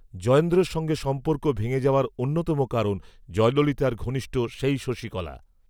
জয়েন্দ্রর সঙ্গে সম্পর্ক ভেঙে যাওয়ার অন্যতম কারণ, জয়ললিতার ঘনিষ্ঠ, সেই শশীকলা